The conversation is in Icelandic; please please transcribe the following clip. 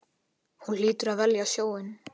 Hún hlýtur að velja sjóinn.